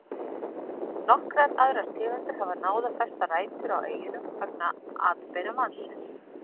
Nokkrar aðrar tegundir hafa náð að festa rætur á eyjunum vegna atbeina mannsins.